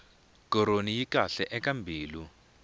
koroni yi kahle eka mbilu